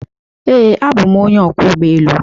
Ee, abụ m onye ọkwọ ụgbọ elu.